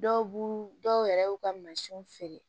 Dɔw b'u dɔw yɛrɛ y'u ka mansinw feere